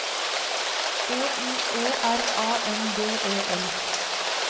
E I E R A N D E L